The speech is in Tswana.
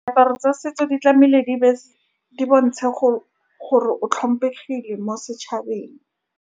Diaparo tsa setso, di tlame'ile di di bontshe go gore o tlhompegile mo.